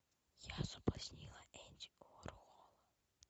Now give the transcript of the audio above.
я соблазнила энди уорхола